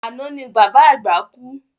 Àná ni bàbá àgbà kú